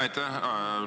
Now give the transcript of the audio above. Aitäh!